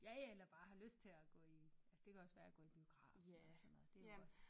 Ja ja eller bare har lyst til at gå i altså det kan også være at gå i biografen eller sådan noget det jo også